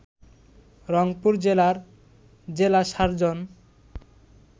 রংপুর জেলার জেলা সার্জন